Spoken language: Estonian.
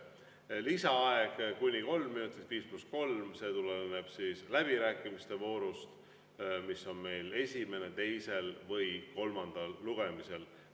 Lisaaeg kuni kolm minutit, 5 + 3, on läbirääkimiste voorus, mis on esimesel, teisel ja kolmandal lugemisel.